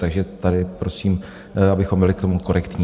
Takže tady prosím, abychom byli k tomu korektní.